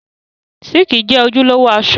Síìkì jẹ́ ojúlówó aṣọ